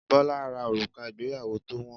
Bola ra òrùka ìgbéyàwó tó wọn